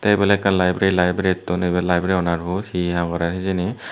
ebay ole ekkan library librarytun ebay library owner bu he ham gorer hejani.